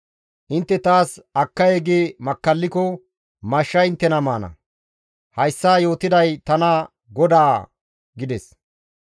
Intte taas akkay gi makkalliko mashshay inttena maana; hayssa yootiday tana GODAA» gides.